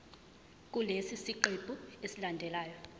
kulesi siqephu esilandelayo